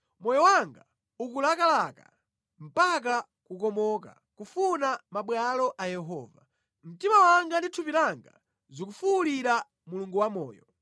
Moyo wanga ukulakalaka, mpaka kukomoka, kufuna mabwalo a Yehova; Mtima wanga ndi thupi langa zikufuwulira Mulungu wamoyo.